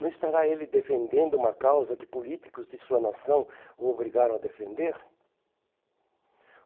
Não estará ele defendendo uma causa que políticos de sua nação o obrigaram a defender?